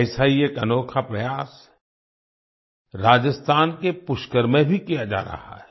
ऐसा ही एक अनोखा प्रयास राजस्थान के पुष्कर में भी किया जा रहा है